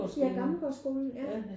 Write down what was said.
Ja Gammelgaardskolen